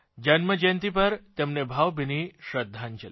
જન્મજયંતિ પર તેમને ભાવભીની શ્રદ્ધાંજલી